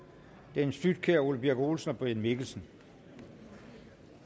dennis flydtkjær ole birk olesen og brian mikkelsen